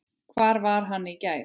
Hvar var hann í gær?